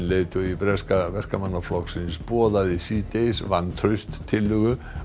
leiðtogi breska Verkamannaflokksins boðaði síðdegis vantrauststillögu